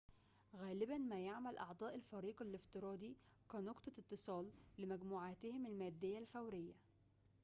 غالباً ما يعمل أعضاء الفريق الافتراضي كنقطة اتصال لمجموعاتهم المادية الفورية